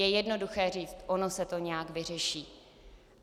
Je jednoduché říct: ono se to nějak vyřeší.